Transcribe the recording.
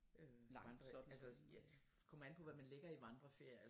Nej så altså ja kommer an på hvad man ligger i vandreferier altså